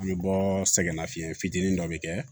An bɛ bɔ sɛgɛnnafiɲɛn fitinin dɔ bɛ kɛ